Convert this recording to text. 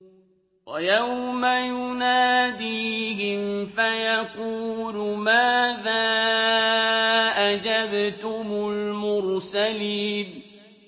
وَيَوْمَ يُنَادِيهِمْ فَيَقُولُ مَاذَا أَجَبْتُمُ الْمُرْسَلِينَ